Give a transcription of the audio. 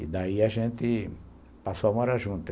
E daí a gente passou a morar junto.